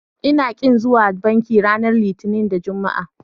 Ina ƙin zuwa banki ranar Litinin da Juma'a.